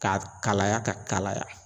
Ka kalaya ka kalaya